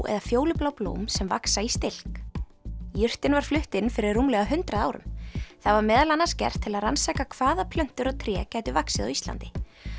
eða fjólublá blóm sem vaxa í stilk jurtin var flutt inn fyrir rúmlega hundrað árum það var meðal annars gert til að rannsaka hvaða plöntur og tré gætu vaxið á Íslandi